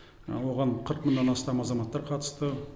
оған қырық мыңнан астам азаматтар қатысты